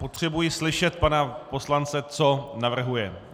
Potřebuji slyšet pana poslance, co navrhuje.